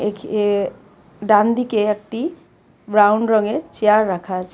এখইয়ে ডানদিকে একটি ব্রাউন রঙের চেয়ার রাখা আছে.